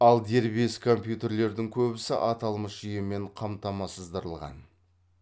ал дербес компьютерлердің көбісі аталмыш жүйемен қамтамасыздырылған